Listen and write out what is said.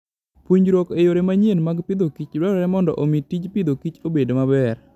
Puonjruok e yore manyien mag Agriculture and Food dwarore mondo omi tij pidhokich obed maber.